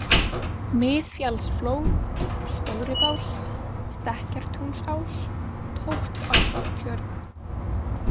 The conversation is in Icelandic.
Miðfjallsflóð, Stóri-Bás, Stekkjartúnsás, Tóttásartjörn